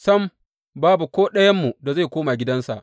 Sam, babu ko ɗayanmu da zai koma gidansa.